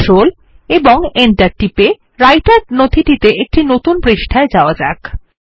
control এবং Enter টিপে রাইটের নথিটির একটি নতুন পৃষ্ঠায় যাওয়া যাক